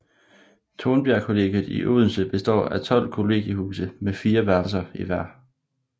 Tornbjergkollegiet i Odense består af 12 kollegiehuse med fire værelser i hver